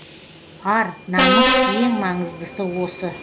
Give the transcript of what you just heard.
ар намыс ең маңыздысы осы